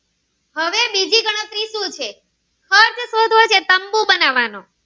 કીધું છે ખર્ચ શોધવો છે તંબુ બનવાનો